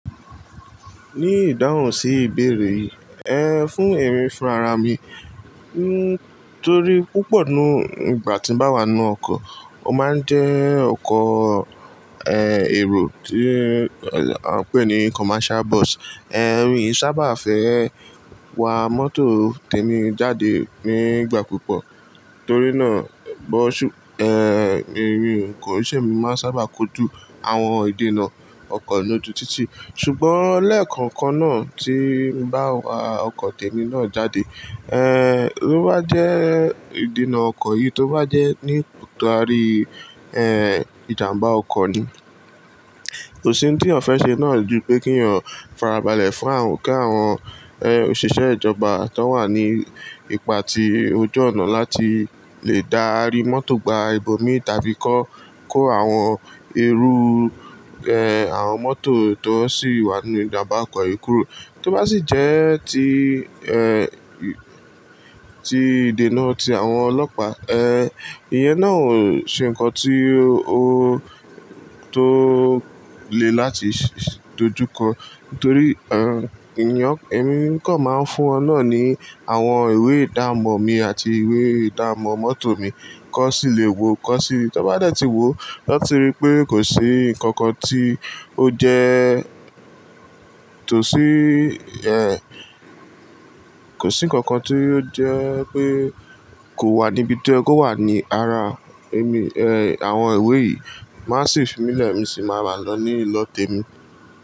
Ní ìdáhùn sí ìbéèrè yìí, ẹ fún èmi fúnrara mi nítorí púpọ̀ nínú ìgbà tí ń bá wà nínú ọkọ̀, ó máa ń jẹ́ ọkọ̀, ẹ́, èrò tí a ń pè ní commercial bus. Ẹ̀rù mi i sábà fẹ́ wa mọ́tò tèmi jáde nígbà púpọ̀ torí náà bọ́ṣù, ẹ́, èmi koi ṣè mi ni máa ń sábà kojú àwọn ìdènà ọkọ̀ lóju títí. Ṣùgbọ́n lẹ́ẹ̀kọ̀ọ̀kan náà tí ń bá wa ọkọ̀ tèmi náà jáde, ẹ́, tí ó bá jẹ́ ìdènà ọkọ̀ yìí tí ó bá jẹ́ nípa ari, ẹ́, ìjàmbá ọkọ̀ ni. Kò sí ohun tí ọ̀ fẹ́ ṣe náà ju pé kínyàn farabalẹ̀ fún àwọn kí àwọn, ẹ́, òṣìṣẹ́ ìjọba tan wà ní ipa ti ojú ọ̀nà láti lè dárí mọ́tò gba ibòmí tàbí kó kó àwọn irú, ẹ́, àwọn mọ́tò tó sì wà nínú ìjàmbá ọkọ̀ yìí kúrò. Tó bá sì jẹ́ ti, ẹ́, ti ìdènà ti àwọn ọlọ́pàá, ẹ́, iye náà ò ṣe ǹnkan tí ó tó le láti dojúkọ. Nítorí, ẹ́, eniyan, èmi kan máa ń fún wọn náà ní àwọn ìwé ìdámọ̀ mi àti ìwé ìdámọ̀ mọ́tò mi kan sì le wo, kan sì, tan bá dẹ̀ ti wo, lati ti rí pé kò sí ǹnkankan tí ó jẹ tòsí, ẹ́, kò sí ǹkankan tí ó jẹ́ pé kò wà níbi to ye ko wà ní rara èmi, ẹ́, àwọn ìwé yìí. Maa si fími lẹ̀ mi sì máa wa lọ ní ìlọ tèmi.